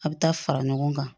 A bɛ taa fara ɲɔgɔn kan